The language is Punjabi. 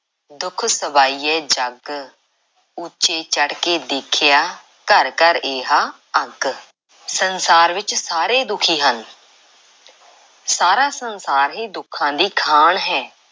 ਦੁਖ ਸਬਾਇਐ ਜਗੁ।। ਉਚੇ ਚੜ੍ਹ ਕੇ ਦੇਖਿਆ ਘਰਿ ਘਰਿ ਏਹਾ ਆਗੂ।। ਸੰਸਾਰ ਵਿੱਚ ਸਾਰੇ ਦੁਖੀ ਹਨ। ਸਾਰਾ ਸੰਸਾਰ ਹੀ ਦੁੱਖਾਂ ਦੀ ਖਾਣ ਹੈ।